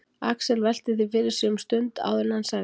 Axel velti því fyrir sér um stund áður en hann sagði